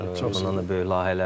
Bundan da böyük layihələriniz olsun.